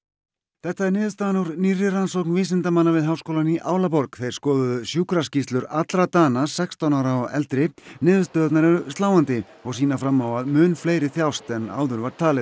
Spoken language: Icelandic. þetta er niðurstaðan úr nýrri rannsókn vísindamanna við háskólann í Álaborg þeir skoðuðu sjúkraskýrslur allra Dana sextán ára og eldri niðurstöðurnar eru sláandi og sýna fram á að mun fleiri þjást en áður var talið